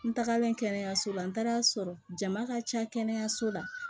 N tagalen kɛnɛyaso la n taara a sɔrɔ jama ka ca kɛnɛyaso la